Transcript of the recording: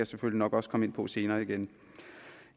selvfølgelig nok også komme ind på senere igen